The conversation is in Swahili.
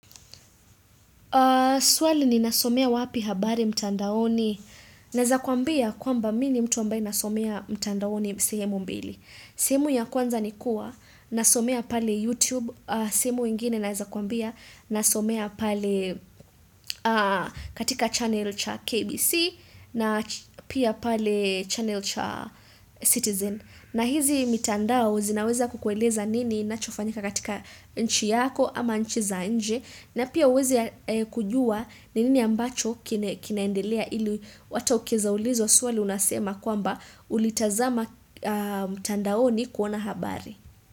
Swali ninasomea wapi habari mtandaoni naeza kuambia kwamba mimi ni mtu ambaye nasomea mtandaoni sehemu mbili. Sehemu ya kwanza ni kuwa nasomea pale YouTube, sehemu ingine naeza kuambia nasomea pale katika channel cha KBC na pia pale channel cha Citizen. Na hizi mitandao zinaweza kukueleza nini inachofanyika katika nchi yako ama nchi za nje na pia uweze kujua nini ambacho kinaendelea ili hata ukieza ulizwa swali unasema kwamba ulitazama mtandaoni kuona habari.